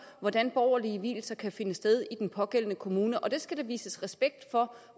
hvordan borgerlige vielser kan finde sted i den pågældende kommune og det skal der vises respekt for